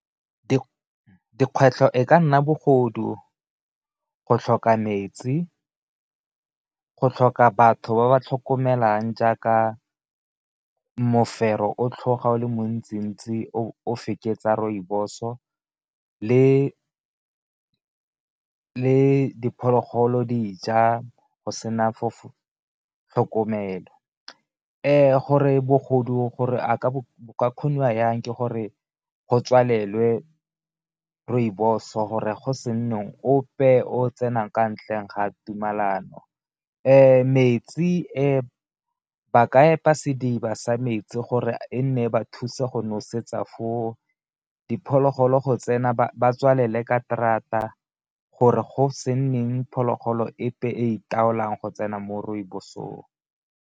Dikgwetlho e ka nna bogodu, go tlhoka metsi, go tlhoka batho ba ba tlhokomelang jaaka mofero o tlhoga o le montsi-ntsi o feketsa rooibos-o le diphologolo dija go sena tlhokomelo. Gore bogodu gore bo ka kgoniwa jang ke gore go tswalelwe rooibos gore go se nne ope o tsenang ka ntleng ga tumelano. Metsi e ba ka epa sediba sa metsi gore e nne ba thusa go nosetsa fo o, diphologolo go tsena ba tswalele ka terata gore go se nneng phologolo epe e itaolong go tsena mo rooibos-ong.